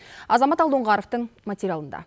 азамат алдоңғаровтың материалында